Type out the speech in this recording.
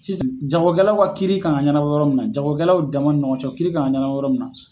Sisan jagokɛlaw ka kiiri kan ka ɲanabɔ yɔrɔ min na jagokɛlaw dama ni ɲɔgɔncɛ o kiiri kan ka ɲanabɔ yɔrɔ min na.